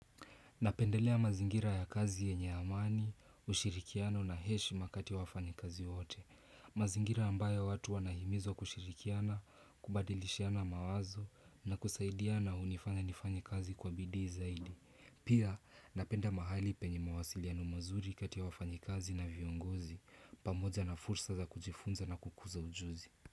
Napendelea mazingira ya kazi yenye amani, ushirikiano na heshima kati ya wafanyikazi wote. Mazingira ambayo watu wanahimizwa kushirikiana, kubadilishiana mawazo na kusaidiana hunifanya nifanye kazi kwa bidii zaidi. Pia napenda mahali penye mawasiliano mazuri kati ya wafanyikazi na viongozi, pamoja na fursa za kujifunza na kukuza ujuzi.